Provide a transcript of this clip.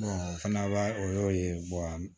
o fana b'a o y'o ye